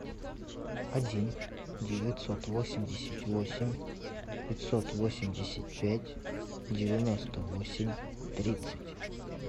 один девятьсот восемьдесят восемь пятьсот восемьдесят пять девяносто восемь тридцать